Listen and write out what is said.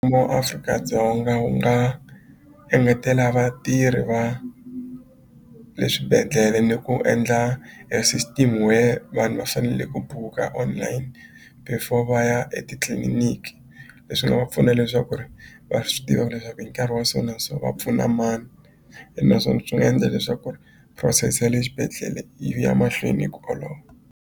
Mu Afrika-Dzonga u nga engetela vatirhi va le swibedhlele ni ku endla a system where vanhu va fanele ku buka online before va ya etitliliniki leswi nga va pfuna leswaku ri va swi tiva leswaku hi nkarhi wa so na so va pfuna mani ene naswona swi nga endla leswaku ri process ya le xibedhlele yi ya mahlweni hi ku olova.